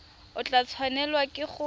o tla tshwanelwa ke go